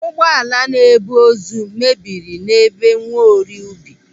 Ụgbọala na-ebu ozu mebiri n'ebe Nwaorie Ubi.